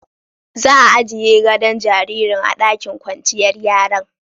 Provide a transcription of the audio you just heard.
Za'a ajie godo'n jaririn a'ɗakin kwanciyar yaran.